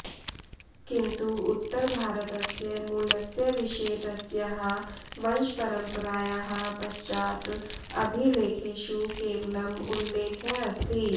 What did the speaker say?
किन्तु उत्तरभारतस्य मूलस्य विषये तस्याः वंशपरम्परायाः पश्चात् अभिलेखेषु केवलम् उल्लेखः अस्ति